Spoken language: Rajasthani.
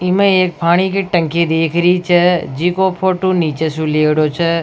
ई में एक पानी की टंकी दीख रही छ जिको फोटो नीचे सु लियेडो छ।